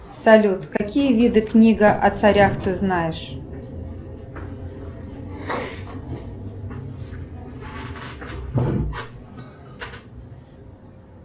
салют какие виды книга о царях ты знаешь